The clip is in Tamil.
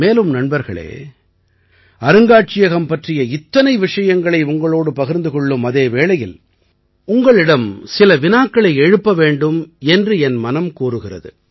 மேலும் நண்பர்களே அருங்காட்சியகம் பற்றிய இத்தனை விஷயங்களை உங்களோடு பகிர்ந்து கொள்ளும் அதே வேளையில் உங்களிடம் சில வினாக்களை எழுப்ப வேண்டும் என்று என் மனம் கூறுகிறது